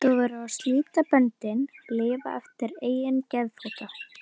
Þú verður að slíta böndin, lifa eftir eigin geðþótta.